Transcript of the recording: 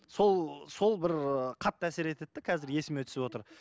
сол сол бір қатты әсер етеді де қазір есіме түсіп отыр